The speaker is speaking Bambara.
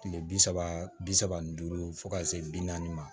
Kile bi saba bi saba ni duuru fo ka se bi naani ma